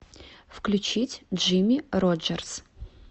включить джимми роджерс